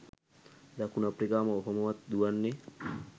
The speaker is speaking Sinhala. දකුණු අප්‍රිකාව ඔහොමවත් දුවන්නේ